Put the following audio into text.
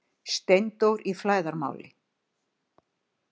STEINDÓR Í FLÆÐARMÁLI